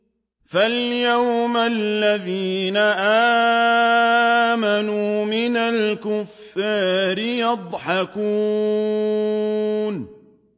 فَالْيَوْمَ الَّذِينَ آمَنُوا مِنَ الْكُفَّارِ يَضْحَكُونَ